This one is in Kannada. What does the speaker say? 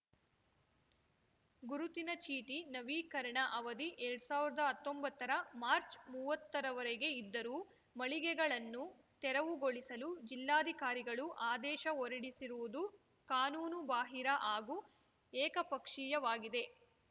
ಗುರುತಿನ ಚೀಟಿ ನವೀಕರಣ ಅವಧಿ ಎರಡ್ ಸಾವ್ರ್ದಾ ಹತ್ತೊಂಬತ್ತರ ಮಾರ್ಚ್ಮುವ್ವತ್ತರವರೆಗೆ ಇದ್ದರೂ ಮಳಿಗೆಗಳನ್ನು ತೆರವುಗೊಳಿಸಲು ಜಿಲ್ಲಾಧಿಕಾರಿಗಳು ಆದೇಶ ಹೊರಡಿರುವುದು ಕಾನೂನು ಬಾಹಿರ ಹಾಗೂ ಏಕಪಕ್ಷೀಯವಾಗಿದೆ